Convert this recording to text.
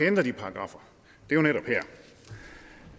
ændre de paragraffer jo netop